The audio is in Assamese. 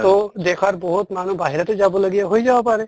তʼ দেশৰ বহুত মানুহ বাহুৰতে যাব লগিয়া হৈ যাব পাৰে।